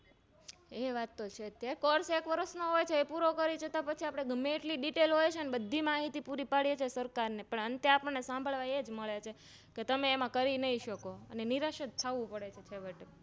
એ વાતતો છે જે Course એક વર્ષનો હોય છે તે પૂરો કરી પછી અપને ગમે તેટલી Detail હોય છે ને બધી માહિતી પૂરી પાડીએછીએ અંતે આપણે સાંભળવા એજ મળે છે તમે એમાં કરી નહી શકોઅને નિરાશ જ થવું પડે છે છેવટે